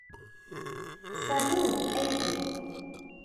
салют эйприл